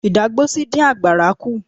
Ìdágbósí dín àgbàrá kú.